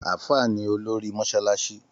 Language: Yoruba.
Àfá ní òlòrí mọsàlàṣí